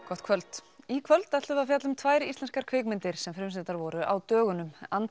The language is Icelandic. gott kvöld í kvöld ætlum við að fjalla um tvær íslenskar kvikmyndir sem frumsýndar voru á dögunum